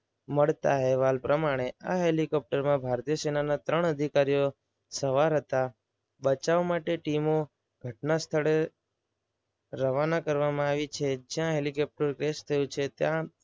મળતા અહેવાલ પ્રમાણે, આ હેલિકોપ્ટરમાં ભારતીય સેનાના ત્રણ અધિકારીઓ સવાર હતા. બચાવ માટે ટીમો ઘટના સ્થળે રવાના કરવામાં આવી છે. જ્યાં હેલિકોપ્ટર ક્રેશ થયું છે ત્યાં